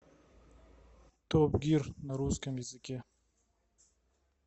топ гир на русском языке